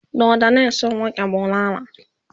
doddanin sun rike bulala